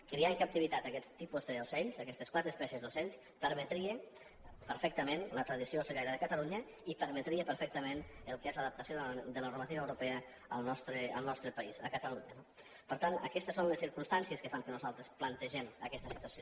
criar en captivitat aquest tipus d’ocells aquestes quatre espècies d’ocells permetria perfectament la tradició ocellaire de catalunya i permetria perfectament el que és l’adaptació de la normativa europea al nostre país a catalunya no per tant aquestes són les circumstàncies que fan que nosaltres plantegem aquesta situació